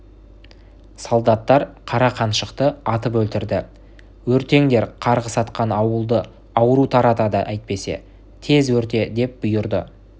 солдаттар қара қаншықты атып өлтірді өртеңдер қарғыс атқан ауылды ауру таратады әйтпесе тез өрте деп бұйырды